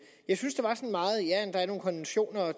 jeg synes at der er nogle konventioner og